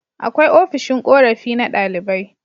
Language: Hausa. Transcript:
Akwai ofishin korafi na ɗalibai